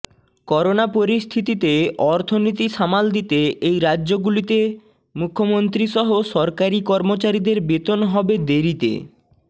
corona পরিস্থিতিতে অর্থনীতি সামাল দিতে এই রাজ্যগুলিতে মুখ্যমন্ত্রী সহ সরকারি কর্মচারীদের বেতন হবে দেরিতে